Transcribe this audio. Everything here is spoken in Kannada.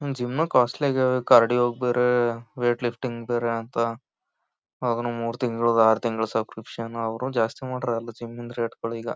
ಜಿಮ್ ಕಾಸ್ಟ್ಲಿ ಆಗಿವೆ ಕಾರ್ಡಿಯೋಗೆ ಬೇರೆ ವೈಟ್ ಲಿಫ್ಟಿಂಗ್ ಗೆ ಬೇರೆ ಅಂತ ಅವಾಗೇನು ಮೂರ್ ತಿಂಗಳು ಆರ್ ತಿಂಗಳು ಸುಬ್ಕ್ರಿಬ್ಷನ್ ಅವುನು ಜಾಸ್ತಿ ಮಾಡ್ರೆ ಜಿಮ್ ದು ರೇಟ್ ಗಳು ಈಗ.